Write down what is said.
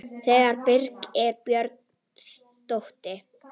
Þegar Birgir Björn dó.